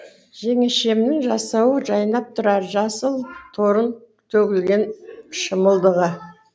жеңешемнің жасауы жайнап тұрар жасыл торғын төгілген шымылдығы